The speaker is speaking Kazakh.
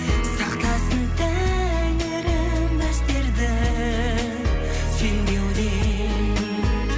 сақтасын тәңірім біздерді сенбеуден